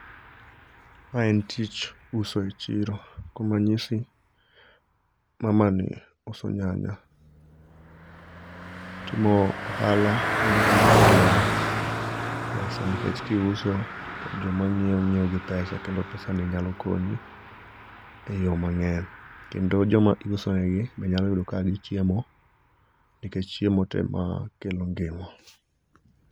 Ma en tich uso e chiro, kuom ranyisi mamani uso nyanya. Timo ohala en gima kelo pesa nikech kiuso, to joma nyiewo nyiewo gi pesa kendo pesani nyalo konyi eyo mang'eny, kendo joma iuso negi bende nyalo yudo ka nigi chiemo. Nikech chiemo ema kelo ngima.